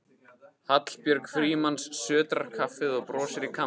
Hallbjörg Frímanns sötrar kaffið og brosir í kampinn.